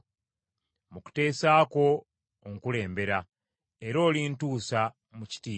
Mu kuteesa kwo onkulembera, era olintuusa mu kitiibwa.